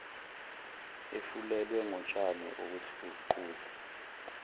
efulelwe ngotshani okuthuquzwa